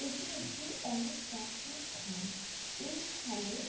এটি একটি অনেক প্রাচীন খাল । এই খালে --